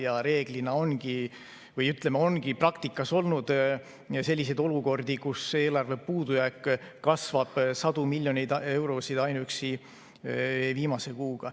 Ja reeglina ongi praktikas olnud selliseid olukordi, kus eelarve puudujääk kasvab sadu miljoneid eurosid ainuüksi viimase kuuga.